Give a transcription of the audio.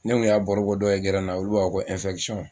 Ne kun y'a barobɔ dɔw ye , na olu b'a fɔ ko